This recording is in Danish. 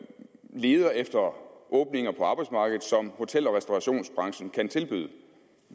leder efter åbninger på arbejdsmarkedet som hotel og restaurationsbranchen kan tilbyde